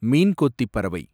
மீன் கொத்தி பறவை